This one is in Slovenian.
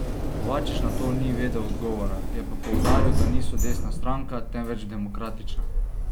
Kovačič na to ni vedel odgovora, je pa poudaril, da niso desna stranka, temveč demokratična.